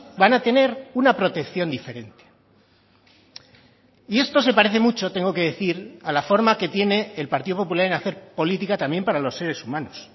van a tener una protección diferente y esto se parece mucho tengo que decir a la forma que tiene el partido popular en hacer política también para los seres humanos